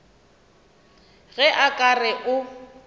ge a ka re o